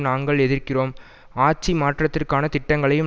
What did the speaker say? நாங்கள் எதிர்க்கிறோம் ஆட்சி மாற்றத்திற்கான திட்டங்களையும்